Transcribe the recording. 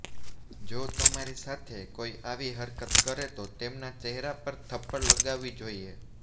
જો તમારી સાથે કોઇ આવી હરકત કરે તો તેમના ચહેરા પર થપ્પડ લગાવવી જોઇએ